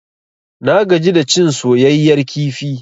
Na gaji da cin soyayyar kifi.